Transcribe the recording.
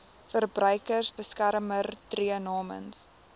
verbruikersbeskermer tree namens